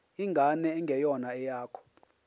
ingane engeyona eyakho